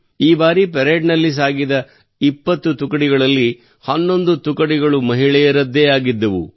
ಈ ಬಾರಿ ಪರೇಡ್ನಲ್ಲಿ ಸಾಗಿದ 20 ಸ್ಕ್ವಾಡ್ಗಳಲ್ಲಿ 11 ಸ್ಕ್ವಾಡ್ಗಳು ಮಹಿಳೆಯರದ್ದೇ ಆಗಿದ್ದವು